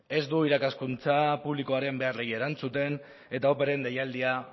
ez du irakaskuntza publikoaren beharrei erantzuten eta opearen deialdia